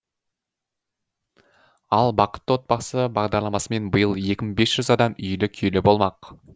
ал бақытты отбасы бағдарламасымен биыл екі мың бес жүз адам үйлі күйлі болмақ